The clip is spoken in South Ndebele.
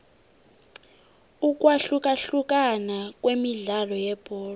ukwahlukahlukana kwemidlalo yebholo